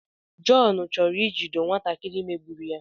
John chọrọ ijido nwatakịrị megburu ya